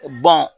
Bɔn